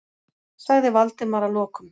sagði Valdimar að lokum.